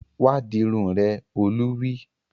Wá dirun rẹ! Olú wí